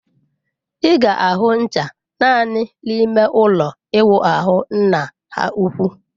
Ị ga-ahụ ncha naanị n'ime ụlọ ịwụ ahụ nna ha ukwu.